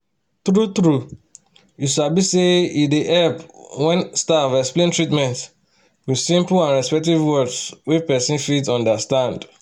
true-true you sabi say e dey help when staff explain treatment with simple and respectful words wey person fit understand.